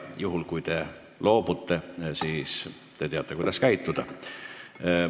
Juhul, kui te küsimusest loobute, siis te teate, kuidas käituda.